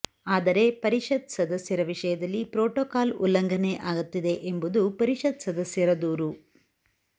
ಆದರೆ ಪರಿಷತ್ ಸದಸ್ಯರ ವಿಷಯದಲ್ಲಿ ಪ್ರೋಟೋಕಾಲ್ ಉಲ್ಲಂಘನೆ ಆಗುತ್ತಿದೆ ಎಂಬುದು ಪರಿಷತ್ ಸದಸ್ಯರ ದೂರು